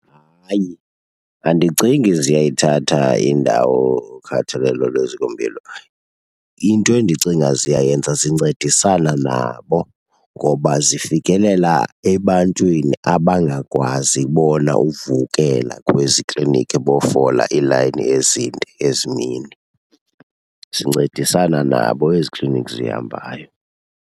Hayi, andicingi ziyayithatha indawo ukhathalelo lwezikompilo. Into endicinga ziyayenza zincedisana nabo ngoba zifikelela ebantwini abangakwazi bona uvukela kwezi kliniki bayofola iilayini ezinde ezi mini, zincedisana nabo ezi kliniki zihambayo.